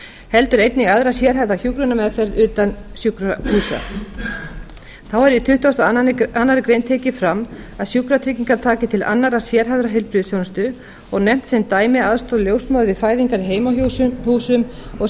heldur einnig aðra sérhæfða hjúkrunarmeðferð utan sjúkrahúsa þá er í tuttugasta og aðra grein tekið fram að sjúkratryggingar taki til annarrar sérhæfðrar heilbrigðisþjónustu og nefnt sem dæmi aðstoð ljósmóður við fæðingar í